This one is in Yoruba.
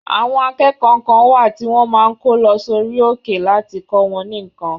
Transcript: Àwọn akẹ́kọ̀ọ́ kan wà tí wọ́n máa ń kó lọ sí orí òkè láti kọ wọn ní nǹkan.